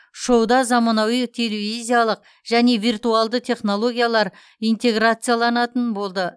шоуда заманауи телевизиялық және виртуалды технологиялар интеграцияланатын болды